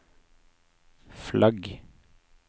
flagg